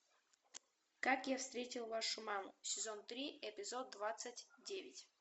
как я встретил вашу маму сезон три эпизод двадцать девять